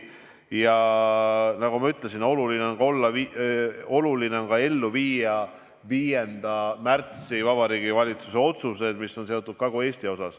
Ja nagu ma ütlesin, oluline on ka ellu viia 5. märtsil Vabariigi Valitsuse langetatud otsused, mis on seotud Kagu-Eestiga.